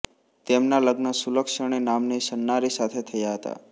તેમનાં લગ્ન સુલક્ષણી નામની સન્નારી સાથે થયાં હતાં